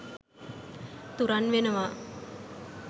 තුරන් වෙනවා.